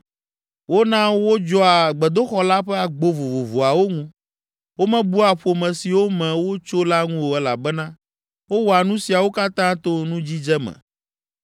Wona wodzɔa gbedoxɔ la ƒe agbo vovovoawo ŋu; womebua ƒome siwo me wotso la ŋu o elabena wowɔa nu siawo katã to nudzidze me.